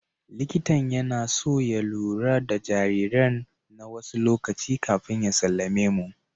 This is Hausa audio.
Likitan yana so ya lura da jariran na wasu lokaci kafin ya sallame mu.